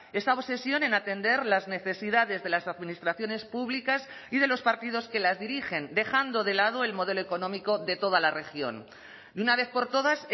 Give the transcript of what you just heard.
esa obsesión en atender las necesidades de las administraciones públicas y de los partidos que las dirigen dejando de lado el modelo económico de toda la región de una vez por todas